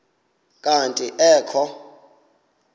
kanti ee kho